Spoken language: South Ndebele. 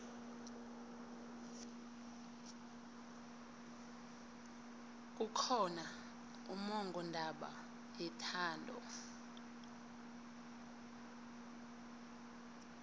kukhona ummongondaba yethando